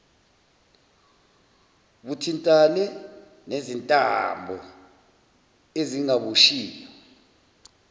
buthintane nezintambo ezingaboshiwe